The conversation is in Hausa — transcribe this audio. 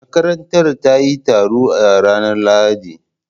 Makarantar ta yi taro a ranar Lahadi